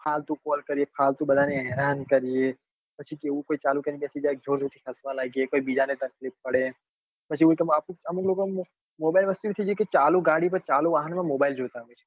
ફાલતું call કરીએ ફાલતું બધા ને હેરાન કરીએ પછી એવું કઈક ચાલુ કરી ને બેસી જાય અને જોર જોર થી હસવા લાગે કઈક બીજા ને તકલીફ પડે પછી અમુક લોકો ને mobile વસ્તુ એવી છે કે ચાલુ ગાડી પર ચાલુ વાહન માં mobile જોઈતા હોય છે